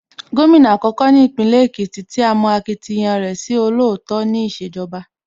Gómìnà àkọ́kọ́ ní Ìpínlẹ̀ Èkìtì tí a mọ akitiyan rẹ̀ sí olóòótọ́ ní ìṣèjọba